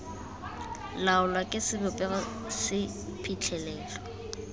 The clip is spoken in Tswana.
laolwa ke sebopego se phitlhelelo